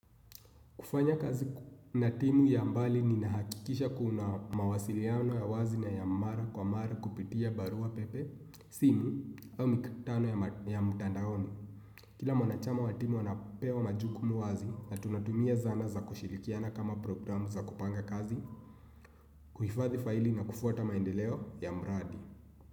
Kufanya kazi na timu ya mbali ninahakikisha kuna mawasiliano ya wazi na ya mara kwa mara kupitia barua pepe, simu, mikutano ya mtandaoni. Kila mwanachama wa timu anapewa majuku wazi na tunatumia zana za kushirikiana kama programu za kupanga kazi, kuhifathi faili na kufuata maendeleo ya mradi.